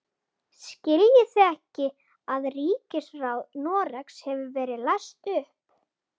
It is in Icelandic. Skiljið þið ekki að ríkisráð Noregs hefur verið leyst upp!